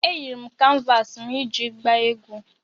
Eyiri m kanvas m iji gbaa egwu